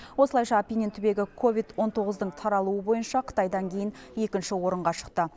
осылайша апеннин түбегі ковид он тоғыздың таралуы бойынша қытайдан кейін екінші орынға шықты